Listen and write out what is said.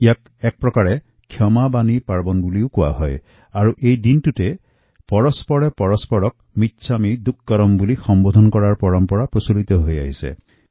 ইয়াক ক্ষমাবাণী উৎসৱো বোলা হয় আৰু এই দিনা এজনে আনজনক মিচ্ছামিদুক্কড়ম বুলি শুভেচ্ছা জনাৱাটো এক ঐতিহ্য